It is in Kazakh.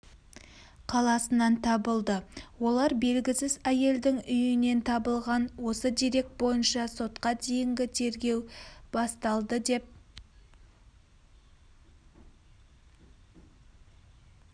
қаласынан табылды олар белгісіз әйелдің үйінен табылған осы дерек бойынша сотқа дейінгі тергеу басталды деп